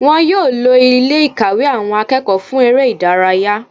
Wọn yóò lo Ilé ìkàwé àwọn akẹ́kọ̀ọ́ fún eré ìdárayá